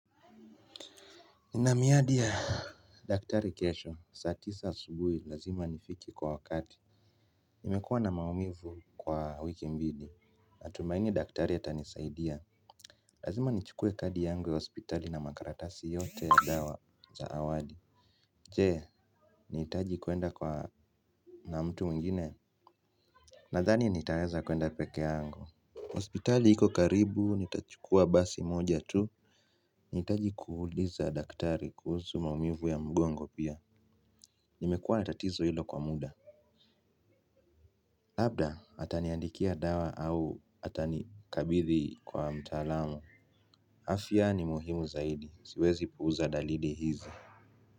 Ninamiadi ya daktari kesho, saa tisa asubuhi lazima nifiki kwa wakati. Nimekuwa na maumivu kwa wiki mbili natumaini daktari atanisaidia. Lazima nichukue kadi yangu ya hospitali na makaratasi yote ya dawa za awali. Jee, nahitaji kuenda kwa na mtu mwingine. Nathani nitaweza kuenda pekee yangu. Ospitali hiko karibu, nitachukua basi moja tu. Nahitaji kuuliza daktari kuhusu maumivu ya mgongo pia. Nimekuwa na tatizo hilo kwa muda. Labda, ataniandikia dawa au atanikabithi kwa mtalaamu. Afya ni muhimu zaidi, siwezi puuza dalili hizi.